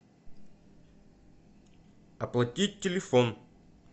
оплатить телефон